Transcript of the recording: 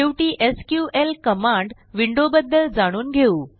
शेवटी SQL command विंडोबद्दल जाणून घेऊ